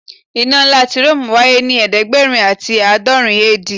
Ina nla ti Rome waye ni ẹdẹgbẹrin ati aadọrin AD